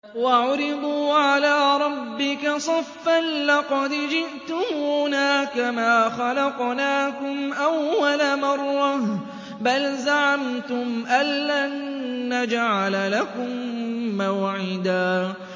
وَعُرِضُوا عَلَىٰ رَبِّكَ صَفًّا لَّقَدْ جِئْتُمُونَا كَمَا خَلَقْنَاكُمْ أَوَّلَ مَرَّةٍ ۚ بَلْ زَعَمْتُمْ أَلَّن نَّجْعَلَ لَكُم مَّوْعِدًا